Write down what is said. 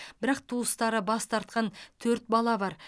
бірақ туыстары бас тартқан төрт бала бар